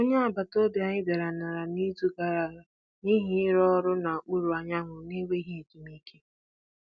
Onye agbata obi anyị dara n'ala n'izu gara aga n'ihi ịrụ ọrụ n'okpuru anyanwụ na-enweghị ezumike.